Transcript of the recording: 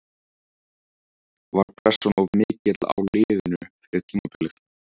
Var pressan of mikil á liðinu fyrir tímabilið?